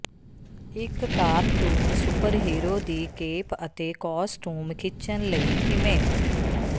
ਇੱਕ cartoon super hero ਦੀ cape ਅਤੇ ਕੌਸਟੂਮ ਖਿੱਚਣ ਲਈ ਕਿਵੇਂ